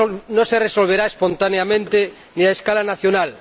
No se resolverá espontáneamente, ni a escala nacional.